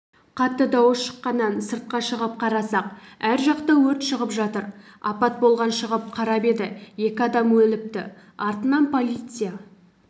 қатты дауыс шыққаннан сыртқа шығып қарасақ ар жақта өрт шығып жатыр апат болған шығып қарап еді екі адам өліпті артынан полиция